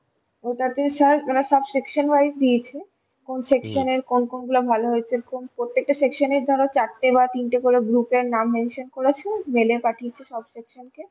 ওটাতে sir মানে সব section wise দিয়েছে, কোন section এর কোন কোন গুলো ভালো হয়েছে প্রত্যেকটা sectionএর ধরো চারটে বা তিনটে করে group এর নাম mention করা ছিল mail এ পাঠিয়েছে সব section কে